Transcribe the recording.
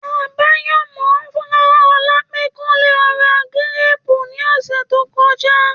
Àbáyọ̀mọ́ rán Ọlá pé kó lọ ra gírépu ní ọ̀sẹ̀ tó kọjá